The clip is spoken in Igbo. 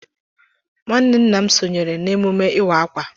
Nwanne nna m sonyere n'emume ịwa ákwà.